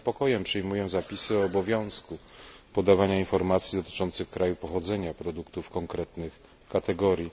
Z niepokojem przyjmuję zapisy o obowiązku podawania informacji dotyczących kraju pochodzenia produktów konkretnych kategorii.